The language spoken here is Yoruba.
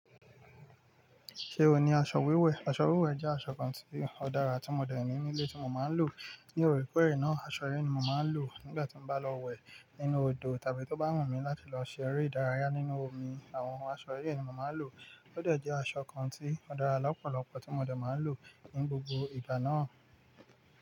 Ṣé ò ní aṣọ wíwẹ̀? Aṣọ wíwẹ̀ jẹ́ aṣọ kan tí ó dára tí mo dẹ̀ ní nílé tí mo máa ń lò. Ní oorekoore na, aṣọ yí ni mo máa ń lò nígbà tí mo bá lọ wẹ̀ nínú odò tàbí tó bá wù mí láti lọ ṣe eré ìdárayá nínú omi. Àwọn aṣọ yí ni mo máa ń lò. Ó de jẹ aṣọ kan tí ó dára lọ́pọ̀lọpọ̀ tí mo dẹ̀ máa ń lò ní gbogbo ìgbà náà.